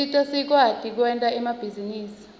usita sikwati kwenta emabhizinisi